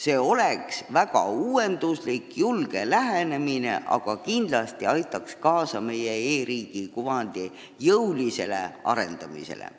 See oleks väga uuenduslik ja julge lähenemine ning kindlasti aitaks see kaasa meie e-riigi kuvandi jõulisele arendamisele.